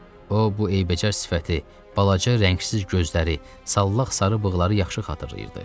O bu eybəcər sifəti, balaca rəngsiz gözləri, sallaq sarı bığları yaxşı xatırlayırdı.